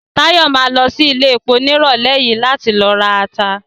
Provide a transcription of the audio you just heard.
Táyọ̀ ma lọ sí iléepo ní ìrọ̀lẹ́ yìí láti ló rata